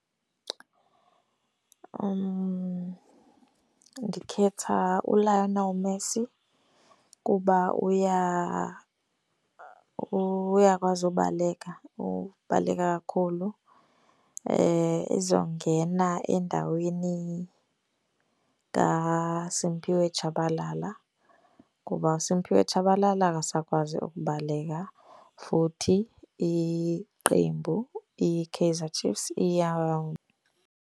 Ndikhetha uLionel Messi kuba uyakwazi ubaleka, ubaleka kakhulu. Ezongena endaweni kaSiphiwe Tshabalala kuba uSiphiwe Tshabalala akasakwazi ukubaleka futhi iqembu iKaizer Chiefs .